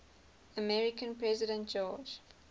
american president george